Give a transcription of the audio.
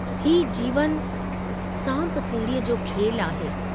हीउ जीवन सांप सीढ़ीअ जो खेलु आहे।